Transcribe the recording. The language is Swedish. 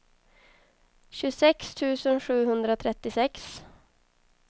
tjugosex tusen sjuhundratrettiosex